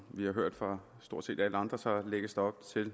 vi har hørt fra stort set alle andre lægges der